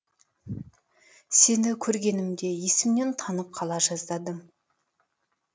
сені көргенімде есімнен танып қала жаздадым